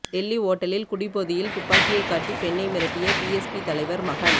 டெல்லி ஓட்டலில் குடிபோதையில் துப்பாக்கியை காட்டி பெண்ணை மிரட்டிய பிஎஸ்பி தலைவர் மகன்